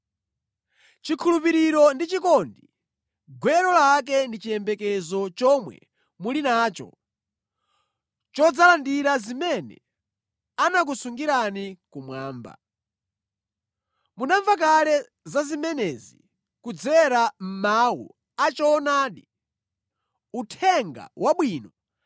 Chikhulupiriro ndi chikondi, gwero lake ndi chiyembekezo chomwe muli nacho chodzalandira zimene anakusungirani kumwamba. Munamva kale za zimenezi kudzera mʼmawu a choonadi, Uthenga Wabwino